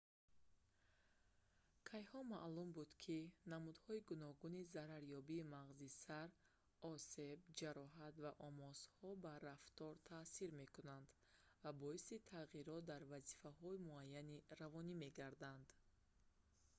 кайҳо маълум буд ки намудҳои гуногуни зарарёбии мағзи сар осеб ҷароҳат ва омосҳо ба рафтор таъсир мекунанд ва боиси тағйирот дар вазифаҳои муайяни равонӣ мегарданд